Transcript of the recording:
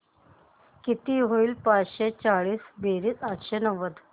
किती होईल पाचशे चोवीस बेरीज आठशे नव्वद